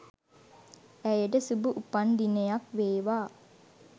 ඇයට සුභ උපන් දිනයක් වේවා